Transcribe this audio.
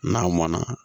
N'a mɔnna